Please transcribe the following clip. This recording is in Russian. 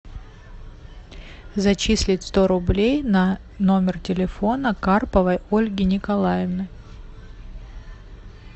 зачислить сто рублей на номер телефона карповой ольги николаевны